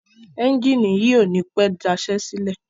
Ẹ́njìnì yìí ò ní pẹ́ daṣẹ́ sílẹ̀.